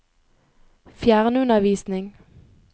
fjernundervisning